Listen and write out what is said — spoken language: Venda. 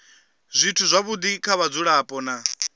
zwithu zwavhudi kha vhadzulapo na